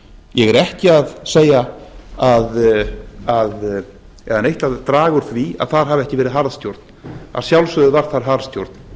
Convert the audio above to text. ég er ekki að segja eða neitt að draga úr því að þar hafi ekki verið harðstjórn að sjálfsögðu var þar harðstjórn